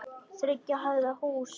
Þriggja hæða húsi.